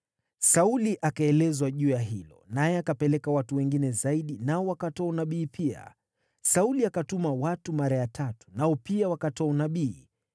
Sauli akaelezwa juu ya hilo, naye akapeleka watu wengine zaidi, nao wakatoa unabii pia. Sauli akatuma watu mara ya tatu, nao pia wakatoa unabii.